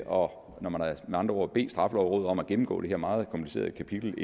når når man med andre ord har bedt straffelovrådet om at gennemgå det her indrømmet meget komplicerede kapitel